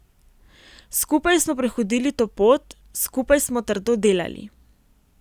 Skupaj smo prehodili to pot, skupaj smo trdo delali.